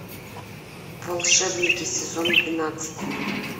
волшебники сезон двенадцать